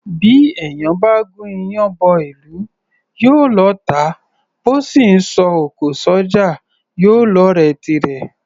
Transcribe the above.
Bí èèyàn bá gún iyán bọ́ ìlú, yóò lọ́ọ̀tá; bó sì ńsọ òkò s’ọ́jà, yóò lọ́ọ̀rẹ́ tirẹ̀.